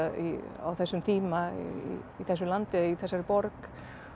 á þessum tíma í þessu landi eða í þessari borg